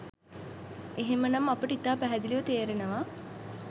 එහෙම නම් අපට ඉතා පැහැදිලිව තේරෙනවා